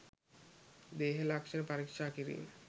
දේහ ලක්ෂණ පරීක්ෂා කිරීම